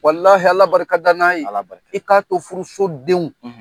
Walahi ala barika da n'a ye. I ka to furu so denw